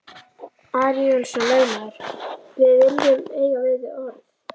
Ari Jónsson lögmaður,-við viljum eiga við þig orð!